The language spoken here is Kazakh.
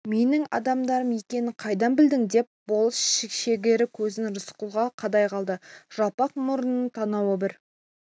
менің адамдарым екенін қайдан білдің деп болыс шегір көзін рысқұлға қадай қалды жалпақ мұрнының танауы бір